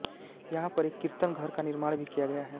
यहां पर एक कीर्तन घर का निर्माण भी किया गया है